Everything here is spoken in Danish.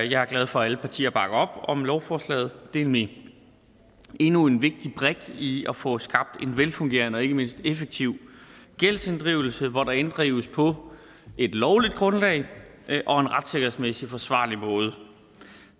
jeg er glad for at alle partier bakker op om lovforslaget det er nemlig endnu en vigtig brik i at få skabt en velfungerende og ikke mindst effektiv gældsinddrivelse hvor der inddrives på et lovligt grundlag og en retssikkerhedsmæssigt forsvarlig måde